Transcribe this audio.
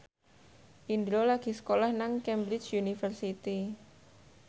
Indro lagi sekolah nang Cambridge University